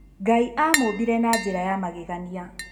Ngai aamũmbire na njĩra ya magegania